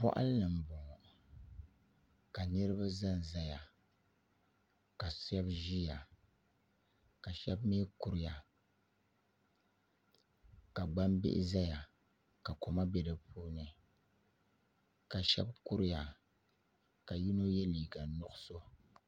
Boɣali ni n boŋo ka niraba ʒɛnʒɛya ka shab ʒiya ka shab mii kuriya ka gbambihi ʒɛya ka koma bɛ di puuni ka shab kuriya ka yino yɛ liiga nuɣso